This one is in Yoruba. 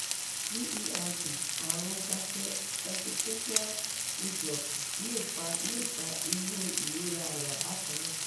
gerd arun gastroesophageal reflux le fa le fa iru ìrora aya bakana